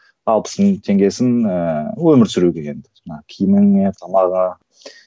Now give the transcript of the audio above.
алпыс мың теңгесін ііі өмір сүру деген жаңағы киіміңе тамағыңа